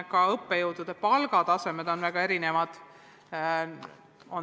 Ka õppejõudude palgad on väga erinevad.